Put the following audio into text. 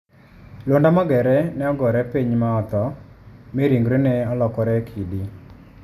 Luanda Magere ne ogore piny ma otho, mi ringrene olokore kidi.